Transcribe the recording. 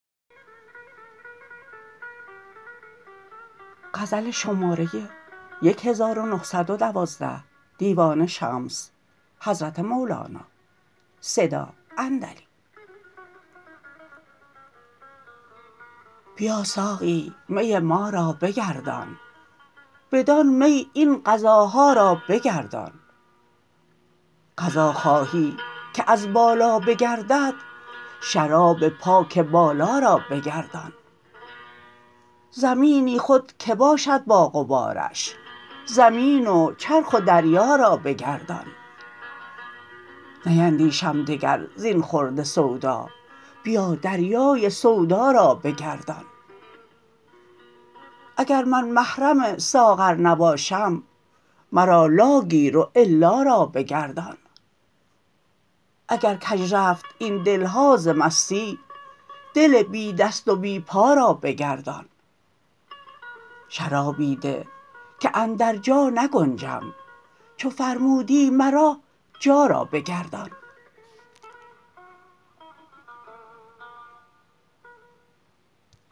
بیا ساقی می ما را بگردان بدان می این قضاها را بگردان قضا خواهی که از بالا بگردد شراب پاک بالا را بگردان زمینی خود که باشد با غبارش زمین و چرخ و دریا را بگردان نیندیشم دگر زین خورده سودا بیا دریای سودا را بگردان اگر من محرم ساغر نباشم مرا لا گیر و الا را بگردان اگر کژ رفت این دل ها ز مستی دل بی دست و بی پا را بگردان شرابی ده که اندر جا نگنجم چو فرمودی مرا جا را بگردان